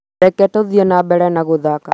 Reke tũthiĩ na mbere gũthaka